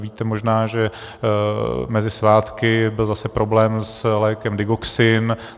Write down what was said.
Víte možná, že mezi svátky byl zase problém s lékem Digoxin.